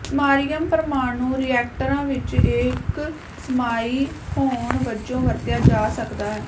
samarium ਪਰਮਾਣੂ ਰਿਐਕਟਰਾਂ ਵਿੱਚ ਇੱਕ ਸਮਾਈ ਹੋਣ ਵਜੋਂ ਵਰਤਿਆ ਜਾ ਸਕਦਾ ਹੈ